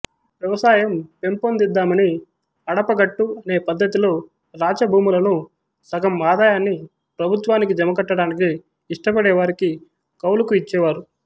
వ్యవసాయం పెంపొందిద్దామని అడపగట్టు అనే పద్ధతిలో రాచభూములను సగం ఆదాయాన్ని ప్రభుత్వానికి జమకట్టడానికి ఇష్టపడేవారికి కౌలుకు ఇచ్చేవారు